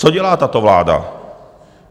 Co dělá tato vláda?